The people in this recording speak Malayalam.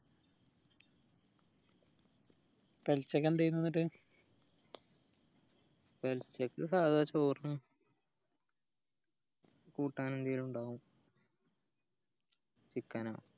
പൊലച്ചക്ക് എന്തേന് എന്നിട്ട് പൊലച്ചക്ക് സാധാ ച്ചോറ് കൂട്ടാൻ എന്തേലു ഇണ്ടാവും chicken അ